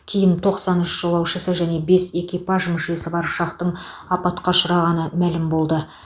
кейін тоқсан үш жолаушысы және бес экипаж мүшесі бар ұшақтың апатқа ұшырағаны мәлім болды